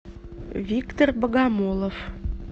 виктор богомолов